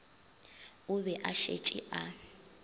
o be a šetše a